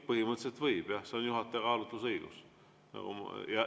Põhimõtteliselt võib, jah, see on juhataja kaalutlusõigus.